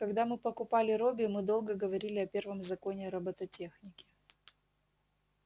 когда мы покупали робби мы долго говорили о первом законе робототехники